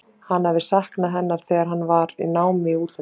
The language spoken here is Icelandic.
Hann hafði saknað hennar þegar hann var í námi í útlöndum.